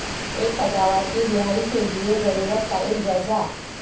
ایک پیداوار کی رہائی کے لئے ضرورت کا ایک جائزہ